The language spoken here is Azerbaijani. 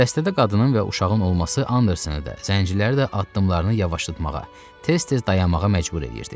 Dəstədə qadının və uşağın olması Andersonu da, zənciləri də addımlarını yavaşlatmağa, tez-tez dayanmağa məcbur edirdi.